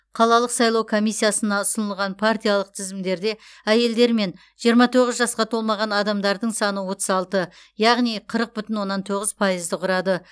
қалалық сайлау комиссиясына ұсынылған партиялық тізімдерде әйелдер мен жиырма тоғыз жасқа толмаған адамдардың саны отыз алты яғни қырық бүтін оннан тоғыз пайызды құрады